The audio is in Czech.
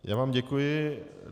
Já vám děkuji.